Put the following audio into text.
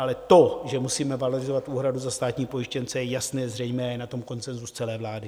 Ale to, že musíme valorizovat úhradu za státní pojištěnce je jasné, zřejmé, je na tom konsenzus celé vlády.